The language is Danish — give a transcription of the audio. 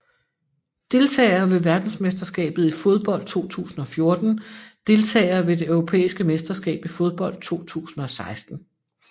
Deltagere ved verdensmesterskabet i fodbold 2014 Deltagere ved det europæiske mesterskab i fodbold 2016